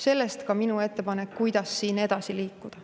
Sellest ka minu ettepanek, kuidas siin edasi liikuda.